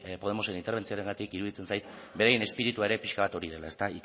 podemosen interbentzioengatik iruditzen zait beraien espiritua ere pixka bat hori dela